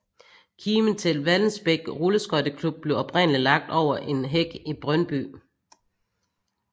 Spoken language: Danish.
Kimen til Vallensbæk Rulleskøjteklub blev oprindelig lagt over en hæk i Brøndby